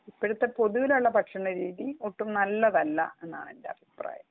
ഇപ്പോഴത്തെ പൊതുവിലുള്ള ഭക്ഷണ രീതി ഒട്ടും നല്ലതല്ല എന്നാണ് എന്റെ അഭിപ്രായം